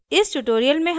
while until